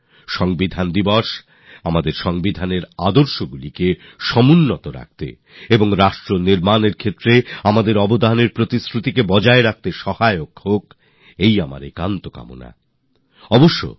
আমি কামনা করি সংবিধান দিবস আমাদের সংবিধানের আদর্শগুলি বজায় রাখতে আর দেশ গঠনে যোগদান দেওয়ার আমাদের সিদ্ধান্তকে শক্তি দেবে